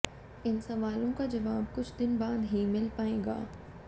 इन सवालों का जवाब कुछ दिन बाद ही मिल पाएगा